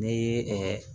N'i ye